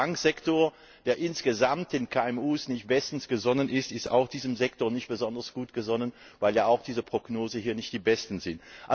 Und der Bankensektor, der insgesamt den KMU nicht bestens gesonnen ist, ist auch diesem Sektor nicht besonders gut gesonnen, weil auch die Prognosen hier nicht die besten sind.